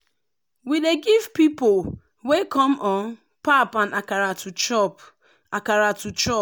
we dey give pipo wey come um pap and akara to chop. akara to chop.